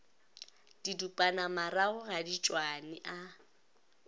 didupanamarago ga di tšwane a